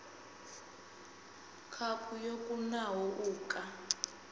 khaphu yo kunaho u ka